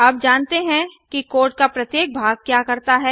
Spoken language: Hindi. अब जानते हैं कि कोड का प्रत्येक भाग क्या करता है160